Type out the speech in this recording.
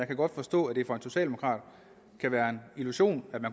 kan godt forstå at det for en socialdemokrat kan være en illusion